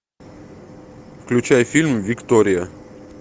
включай фильм виктория